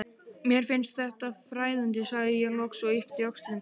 Mér finnst þetta fræðandi, sagði ég loks og yppti öxlum.